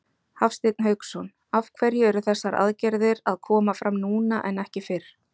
Hafsteinn Hauksson: Af hverju eru þessar aðgerðir að koma fram núna en ekki fyrr?